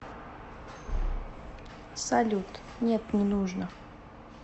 салют нет не нужно